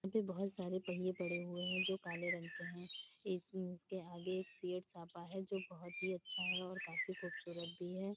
बहुत सारा पहिया पड़े हुए हैं जो काले रंग के हैं। इसके आगे एक है जो बोहोत ही अच्छा है और काफी खूबसूरत भी है।